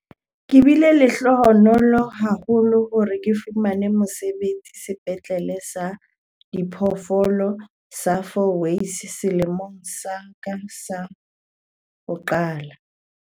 "Ke bile lehlohonolo haholo hore ke fumane mosebetsi Sepetlele sa Diphoofolo sa Fourways selemong sa ka sa ho qetela."